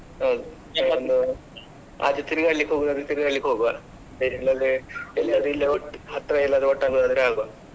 ಹೌದು ಆಚೆ ತಿರ್ಗಾಡ್ಲಿಕ್ಕೆ ಹೋಗುದಾದ್ರೆ ತಿರ್ಗಾಡ್ಲಿಕ್ಕೆ ಹೋಗುವಾ ಬೇರೆ ಇಲ್ಲಿ ಹತ್ರ ಎಲ್ಲದ್ರು ಒಟ್ಟಾಗಿ ಹೋದ್ರೆ ಹೋಗುವ.